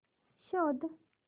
शोध